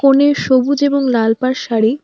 কনের সবুজ এবং লাল পাড় শাড়ি।